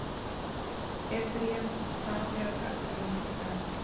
Efraím, hvað er á dagatalinu í dag?